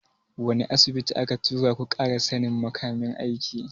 Wani Asibitin aka tura ku ƙara sannin makamin aiki?